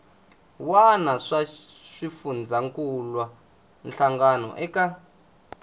wana swa xifundzankuluwa hlangano eka